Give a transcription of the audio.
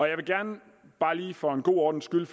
jeg vil gerne bare lige for en god ordens skyld